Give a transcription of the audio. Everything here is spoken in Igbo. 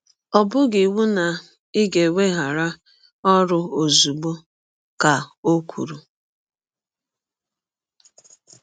“ Ọ bụghị iwụ na ị ga - eweghara ọrụ ọzụgbọ, ” ka ọ kwụrụ.